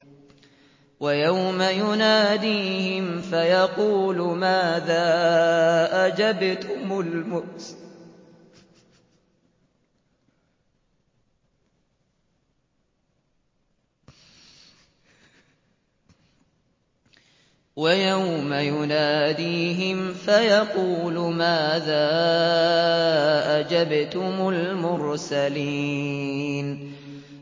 وَيَوْمَ يُنَادِيهِمْ فَيَقُولُ مَاذَا أَجَبْتُمُ الْمُرْسَلِينَ